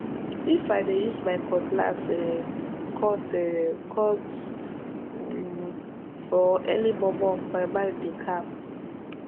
if i dey use my cutlass um cut um cut um for early momo my mind dey calm